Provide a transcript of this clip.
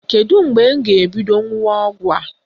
Kedu mgbe m ga-ebido ṅụwa ọgwụ a?